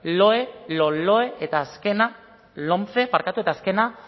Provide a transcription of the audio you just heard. loe lomce eta azkena